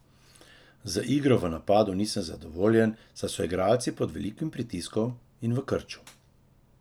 Z igro v napadu nisem zadovoljen, saj so igralci pod velikim pritiskom in v krču.